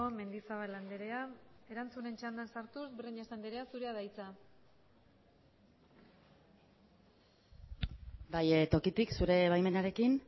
mendizabal andrea erantzunen txandan sartuz breñas andrea zurea da hitza bai tokitik zure baimenarekin